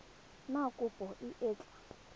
na kopo e e tla